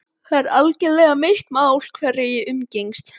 Það er algerlega mitt mál hverja ég umgengst.